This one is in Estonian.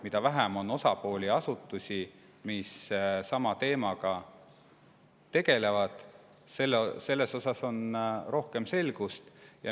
Mida vähem on osapooli, asutusi, mis sama teemaga tegelevad, seda rohkem selgust.